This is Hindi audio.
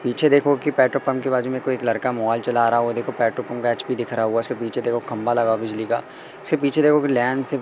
पीछे देखो कि पंखे बाजू में कोई एक लड़का मोबाइल चला रहा है वो देखो पैटो पंखा एच_पी दिख रहा हुआ उसके पीछे देखो खंभा लगा हुआ बिजली का से पीछे देखो कि लैन से--